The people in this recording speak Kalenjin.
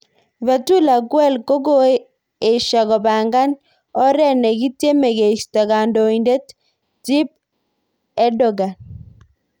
Fetullah Gulen kokoeshia kopanga oret nakityeme keistoo kandoindet Tyyip Erdogan.